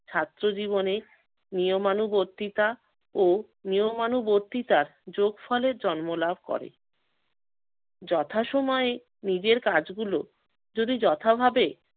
ছাত্র জীবনে নিয়মানুবর্তিতা ও নিয়মানুবর্তিতার যোগফলের জন্ম লাভ করে। যথাসময়ে নিজের কাজগুলো যদি যথা ভাবে